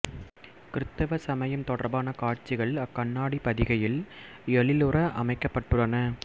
கிறித்தவ சமயம் தொடர்பான காட்சிகள் அக்கண்ணாடிப் பதிகையில் எழிலுற அமைக்கப்பட்டுள்ளன